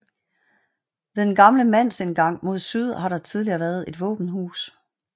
Ved den gamle mandsindgang mod syd har der tidligere været et våbenhus